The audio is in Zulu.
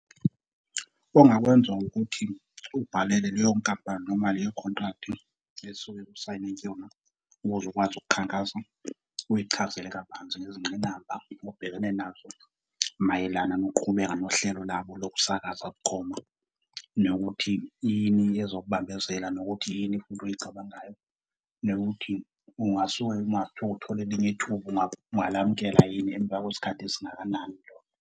Ongakwenza ukuthi ubhalele leyo nkampani noma leyo contract esuke usayine kuyona ukuze ukwazi ukukhankasa, uyichazele kabanzi ngezingqinamba obhekene nazo mayelana nokuqhubeka nohlelo labo lokusakaza bukhoma, nokuthi yini ezokubambezela nokuthi yini futhi oyicabangayo nokuthi ungasuka yini uma kuthiwa uthole elinye ithuba, ungalamukela yini emva kwesikhathi esingakanani lona.